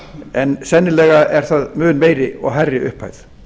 en sennilega er það mun meiri og hærri upphæð